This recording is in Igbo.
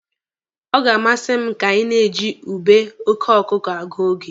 Ọ ga-amasị m ka anyị na-eji ube oke ọkụkụ agụ oge.